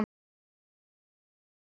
Við lifum á þannig tímum.